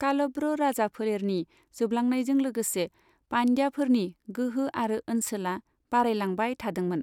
कालभ्र राजाफोलेरनि जोबलांनायजों लोगोसे, पान्ड्याफोरनि गोहो आरो ओनसोला बारायलांबाय थादोंमोन।